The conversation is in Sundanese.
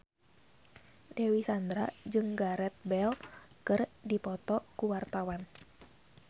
Dewi Sandra jeung Gareth Bale keur dipoto ku wartawan